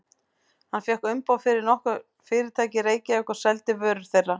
Hann fékk umboð fyrir nokkur fyrirtæki í Reykjavík og seldi vörur þeirra.